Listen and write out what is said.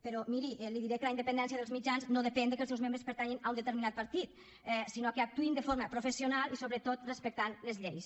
però miri li diré que la independència dels mitjans no depèn del fet que els seus membres pertanyin a un determinat partit sinó que actuïn de forma professional i sobretot respectant les lleis